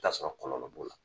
I bi ta sɔrɔ kɔnɔ nɔn b'o la.